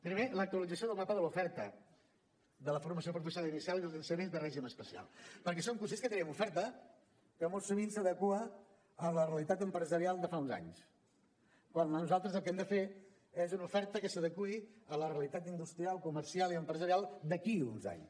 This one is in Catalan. primer l’actualització del mapa de l’oferta de la formació professional inicial i dels ensenyaments de règim especial perquè som conscients que tenim una oferta que molt sovint s’adequa a la realitat empresarial de fa uns anys quan nosaltres el que hem de fer és una oferta que s’adeqüi a la realitat industrial comercial i empresarial d’aquí uns anys